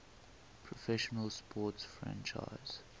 professional sports franchise